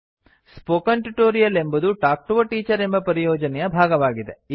spoken tutorial ಎಂಬುದು talk to a teacher ಎಂಬ ಪರಿಯೋಜನೆಯ ಭಾಗವಾಗಿದೆ